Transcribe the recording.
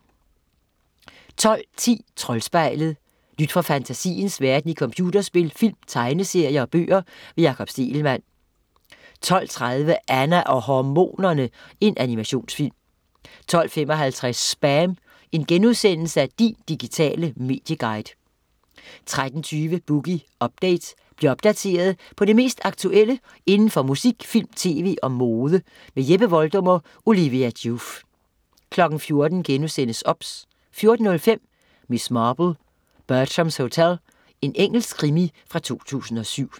12.10 Troldspejlet. Nyt fra fantasiens verden i computerspil, film, tegneserier og bøger. Jakob Stegelmann 12.30 Anna og hormonerne!. Animationsfilm 12.55 SPAM, Din digitale medieguide* 13.20 Boogie Update. Bliv opdateret på det mest aktuelle inden for musik, film, tv og mode. Jeppe Voldum og Olivia Joof 14.00 OBS* 14.05 Miss Marple: Bertrams Hotel. Engelsk krimi fra 2007